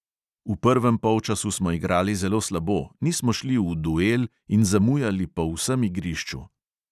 V prvem polčasu smo igrali zelo slabo, nismo šli v duel in zamujali po vsem igrišču.